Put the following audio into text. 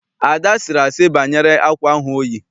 Ada sịrị asị banyere akwa ahụ oyi.